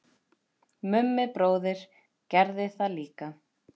Mummi bróðir gerði það líka.